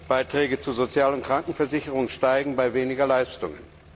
Beiträge zur sozialen Krankenversicherung steigen bei weniger Leistungen.